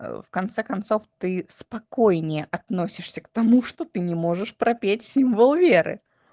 в конце концов ты спокойнее относишься к тому что ты не можешь пропеть символ веры